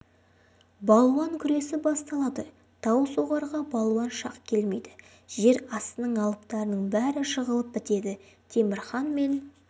балуан күресі басталады таусоғарға балуан шақ келмейді жер астының алыптарының бәрі жығылып бітеді темір хан мен